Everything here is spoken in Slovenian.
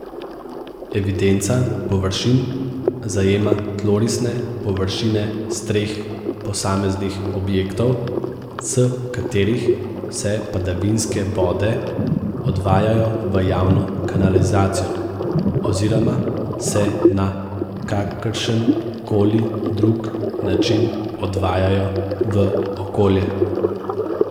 Evidenca površin zajema tlorisne površine streh posameznih objektov, s katerih se padavinske vode odvajajo v javno kanalizacijo, oziroma se na kakršen koli drug način odvajajo v okolje.